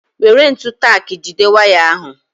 Were ntụ taki jide waya ahu